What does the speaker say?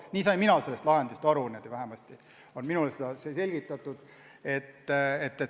Nii sain mina sellest lahendist aru, niimoodi on minule seda selgitatud.